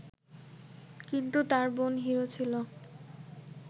কিন্তু তার বোন হিরো ছিল